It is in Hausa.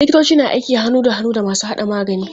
Likitoci na aiki hannu da hannu da masu haɗa magani.